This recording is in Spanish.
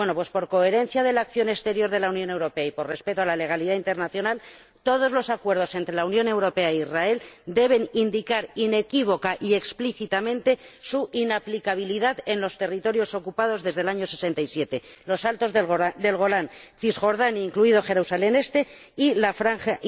Bueno, pues, por coherencia de la acción exterior de la Unión Europea y por respeto a la legalidad internacional, todos los acuerdos entre la Unión Europea e Israel deben indicar inequívoca y explícitamente su inaplicabilidad en los territorios ocupados desde 1967 los Altos del Golán, Cisjordania —incluido Jerusalén Este— y la Franja